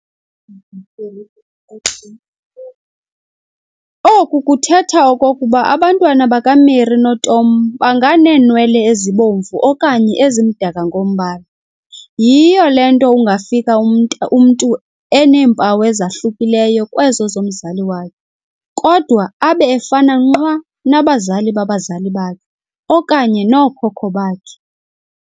Oku kuthetha okokuba abantwana bakaMary noTom banganeenwele ezibomvu okanye ezimdaka ngombala. Yhiyo le nto ungafika umntu eneempawu ezahlukileyo kwezo zomzali wakhe, kodwa abe efana nqwa nabazali babazali bakhe okanye nookhokho bakhe.